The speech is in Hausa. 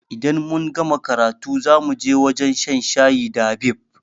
Idan mun gama karatu zamuje wajan shan shayi da Habib